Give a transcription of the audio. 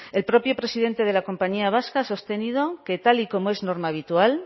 el propio presidente de la compañía vasca ha sostenido que tal y como es norma habitual